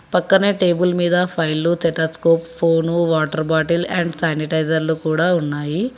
పక్కనే టేబుల్ మీద ఫైల్లు stethoscope phone water bottle and శానిటైజర్లు కూడా ఉన్నాయి.